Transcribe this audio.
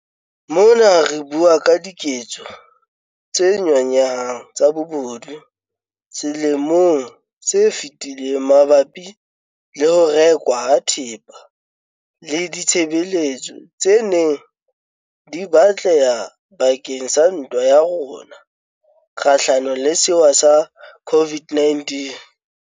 Mona re bua ka diketso tse nyonyehang tsa bobodu selemong se fetileng mabapi le ho rekwa ha thepa le ditshebeletso tse neng di batleha bakeng sa ntwa ya rona kgahlanong le sewa sa COVID-19.